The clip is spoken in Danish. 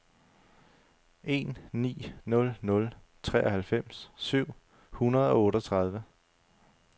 en ni nul nul treoghalvfems syv hundrede og otteogtredive